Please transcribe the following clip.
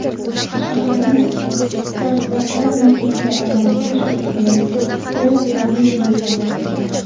Shaharni startaplar markaziga aylantirish usuli Tel-Aviv misolida.